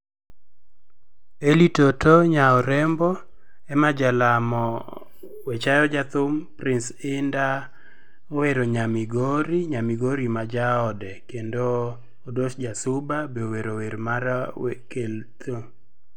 Eli toto nya urembo, Emma Jalamo we chayo jathum, prince Hinda mowero nya Migori, Nyamigori ma jaode kendo Odos Jasuba be owero wer mar kel